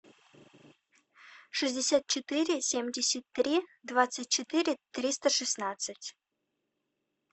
шестьдесят четыре семьдесят три двадцать четыре триста шестнадцать